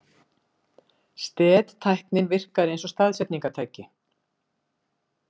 STED-tæknin virkar eins og staðsetningartæki.